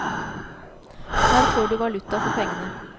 Her får du valuta for pengene.